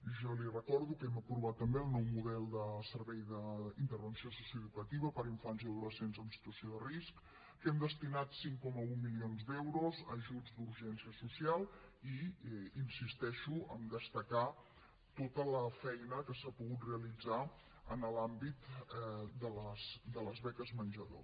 jo li recordo que hem aprovat també el nou model de servei d’intervenció socioeducativa per a infants i adolescents en situació de risc que hem destinat cinc coma un milions d’euros a ajuts d’urgència social i insisteixo en destacar tota la feina que s’ha pogut realitzar en l’àmbit de les beques menjador